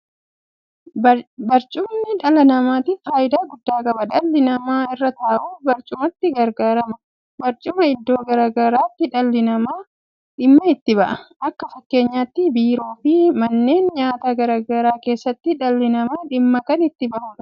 Barcumni dhala namaatiif faayidaa guddaa qaba. Dhalli namaa irra taa'uuf barcumatti gargaarama. Barcumaa iddoo garaa garaatti dhalli namaa dhimma itti ba'a. Akka fakkeenyaatti biiroo fi manneen nyaataa garaa garaa keessatti dhalli namaa dhimma kan itti ba'u ta'a.